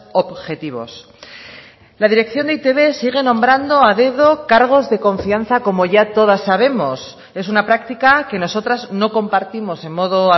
objetivos la dirección de e i te be sigue nombrando a dedo cargos de confianza como ya todas sabemos es una práctica que nosotras no compartimos en modo